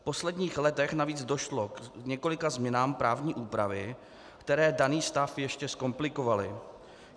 V posledních letech navíc došlo k několika změnám právní úpravy, které daný stav ještě zkomplikovaly.